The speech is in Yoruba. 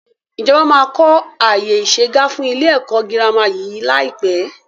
Ìjọba máa kọ àyè isegá fún ilé ẹ̀kọ́ girama yí lai pẹ́